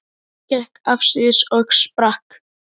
Hann gekk afsíðis og sprakk.